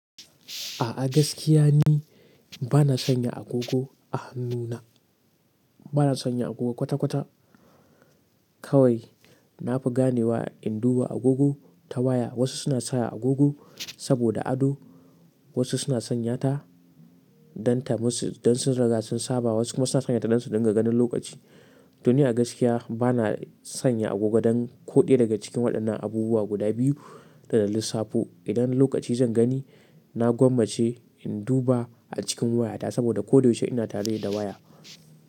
A'a gaskiya ni ba na sanya agogo a hannuna, ba na sanya agogo kwata-kwata. Kawai na fi gane wa in duba agogo ta waya. Wasu suna sa agogo saboda ado, wasu suna sanya ta don ta musu dan sun riga sun saba, wasu kuma suna sanya ta don su dinga ganin lokaci. To ni agaskiya ba na sanya agogo don koɗaya daga cikin waɗannan abubuwa guda biyu da na lissafo. Idan lokaci zan gani, na gwammace in duba a cikin waya ta saboda ko da yaushe ina tare da waya.